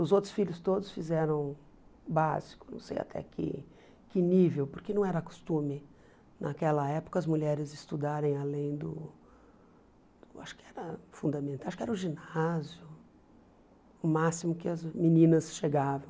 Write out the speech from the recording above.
Os outros filhos todos fizeram básico, não sei até que que nível, porque não era costume naquela época as mulheres estudarem além do... Acho que era o fundamental acho que era o ginásio, o máximo que as meninas chegavam.